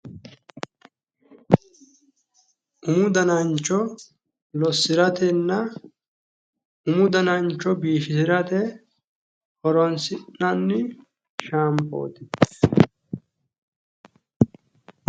umu danancho lossiratenna umu danancho biifisirate horonsi'nanni shaampooti.